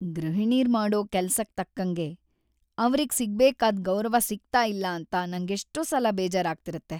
ಗೃಹಿಣೀರ್ ಮಾಡೋ ಕೆಲ್ಸಕ್ ತಕ್ಕಂಗೆ ಅವ್ರಿಗ್ ಸಿಗ್ಬೇಕಾದ್‌ ಗೌರವ ಸಿಗ್ತಾ ಇಲ್ಲ ಅಂತ ನಂಗೆಷ್ಟೋ ಸಲ ಬೇಜಾರಾಗ್ತಿರತ್ತೆ.